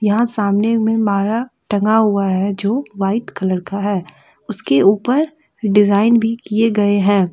यहां सामने में माला टंगा हुआ है जो वाइट कलर का है उसके ऊपर डिजाइन भी किए गए हैं।